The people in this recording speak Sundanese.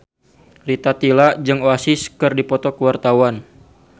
Rita Tila jeung Oasis keur dipoto ku wartawan